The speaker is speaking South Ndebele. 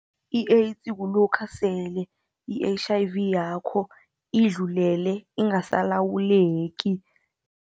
I-AIDS, kulokha sele i-H_I_V yakho idlulele, ingasalawuleki.